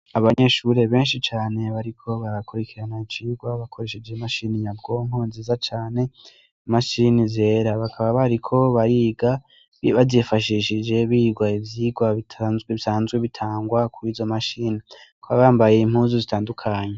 Abanyeshure benshi cane bariko barakurikirana icigwa bakoresheje imashini nyabwonko nziza cane imashini zera bakaba bariko bariga bazifashishije biga ivyigwa bitanzwe bisanzwe bitangwa kw'izo mashini bakaba bambaye impuzu zitandukanye.